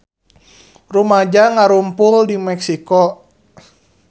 Rumaja ngarumpul di Meksiko